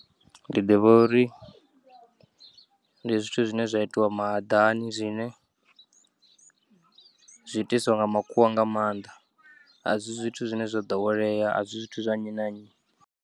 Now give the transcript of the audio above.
Ndi ḓivha uri ndi zwithu zwine zwa itiwa mahaḓani zwine zwiitiswa nga makhuwa nga maanḓa, asi zwithu zwine zwo ḓowelea, asi zwithu zwanyi na nyi.